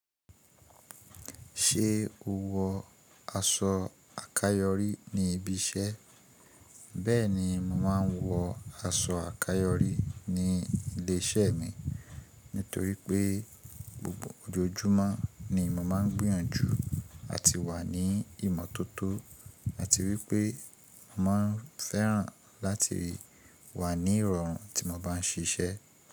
Ṣé o wọ aṣọ àkáyọrí ní ibi iṣẹ́? Bẹ́ẹ̀ni, mo máa ń wọ aṣọ àkáyọrí ní ilé iṣẹ́ mi. Nítorí pé gbogbo ojoojúmọ́ ni mo máa ń gbìyànjú lati wà ní ìmọ́tótó àti wípé mo máa ń fẹ́ràn láti wà ní ìrọ̀rùn tí mo bá ń ṣiṣẹ́.